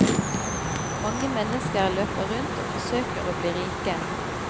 Mange mennesker løper rundt og forsøker å bli rike.